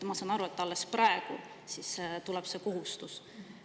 Ma saan aru, et alles praegu tuleb see kohustus.